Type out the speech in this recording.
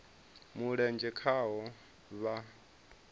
mulenzhe khaho vha o a